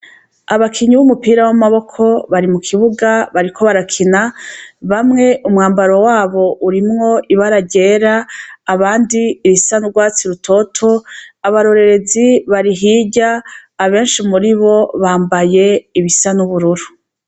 abakinyi b'umupira w'amaboko bari mu kibuga bariko barakina bamwe umwambaro wabo urimwo ibaragera ryera abandi ibisanurwatsi rutoto abarorerezi barihirya abenshi muri bo bambaye ibisan'ubururu